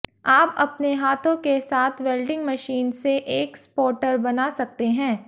आप अपने हाथों के साथ वेल्डिंग मशीन से एक स्पौटर बना सकते हैं